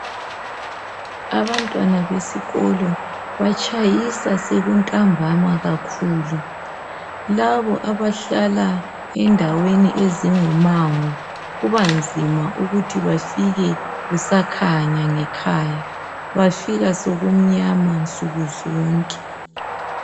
Abantwana besikolo batshayisa sekuntambama kakhulu labo abahlala endaweni ezingumango kubanzima ukuthi bafike kusakhanya ngekhaya bafika sokumnyama nsukuzonke.